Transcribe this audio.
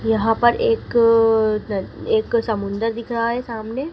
यहां पर एक समुंदर दिख रहा है सामने--